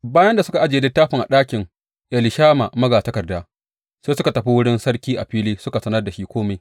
Bayan da suka ajiye littafin a ɗakin Elishama magatakarda, sai suka tafi wurin sarki a fili suka sanar da shi kome.